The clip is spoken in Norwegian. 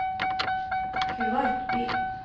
Kuwait by